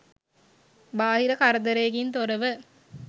බාහිර කරදරයකින් තොරව